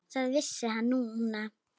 Það vissi hann núna.